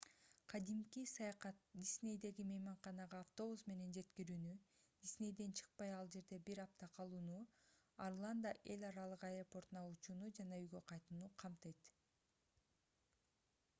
кадимки саякат диснейдеги мейманканага автобус менен жеткирүүнү диснейден чыкпай ал жерде бир апта калууну орландо эл аралык аэропортуна учууну жана үйгө кайтууну камтыйт